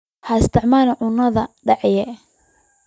Ha isticmaalin caanaha dhacay.